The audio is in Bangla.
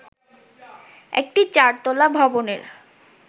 একটি চার তলা ভবনের